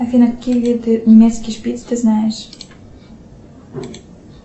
афина какие виды немецкий шпиц ты знаешь